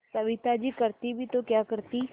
सविता जी करती भी तो क्या करती